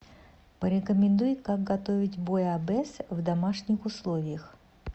порекомендуй как готовить буйабес в домашних условиях